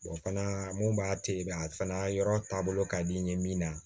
fana mun b'a to i b'a fana yɔrɔ taabolo ka di n ye min na